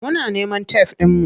Muna neman tef ɗinmu.